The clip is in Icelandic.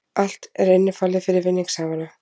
Allt er innifalið fyrir vinningshafana